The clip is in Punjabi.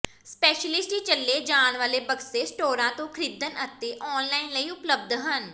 ਸਪੈਸ਼ਲਿਟੀ ਚਲੇ ਜਾਣ ਵਾਲੇ ਬਕਸੇ ਸਟੋਰਾਂ ਤੋਂ ਖ਼ਰੀਦਣ ਅਤੇ ਆਨਲਾਈਨ ਲਈ ਉਪਲਬਧ ਹਨ